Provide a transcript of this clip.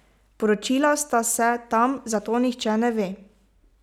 Poročila sta se tam, zato nihče ne ve.